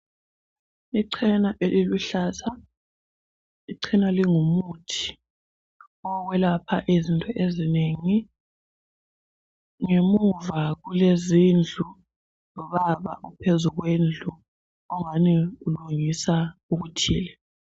Ichena eliluhlaza. Ichena lingumuthi owokwelapha izinto ezinengi. Ngemuva kulezindlu lobaba ophezukwendlu ongani ulungisa okuthile